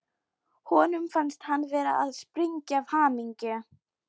Honum fannst hann vera að springa af hamingju.